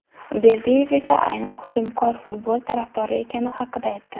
Berdiyev esa aynan hujumkor futbol tarafdori ekani haqida aytdi.